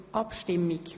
– Das trifft zu.